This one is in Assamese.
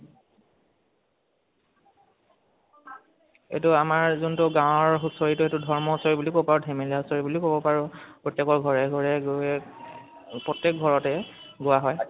এইটো আমাৰ যোনটো গাওঁৰ হুচৰিটো সেইটো ধাৰ্ম হুচৰি বুলিব পাৰি ধেমেলীয়া হুচৰি বুলিও কব পাৰো। প্ৰত্যেকৰ ঘাৰে ঘাৰে গৈ প্ৰত্যেক ঘৰতে গোৱা হয়